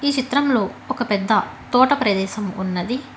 ఈ చిత్రంలో ఒక పెద్ద తోట ప్రదేశం ఉన్నది.